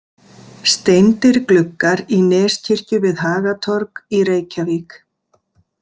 Steindir gluggar í Neskirkju við Hagatorg í Reykjavík.